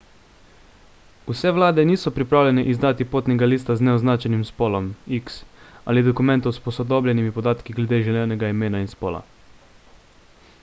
vse vlade niso pripravljene izdati potnega lista z neoznačenim spolom x ali dokumentov s posodobljenimi podatki glede želenega imena in spola